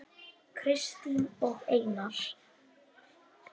Kristín og Einar.